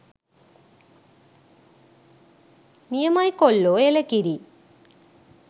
නියමයි කොල්ලෝ එළකිරි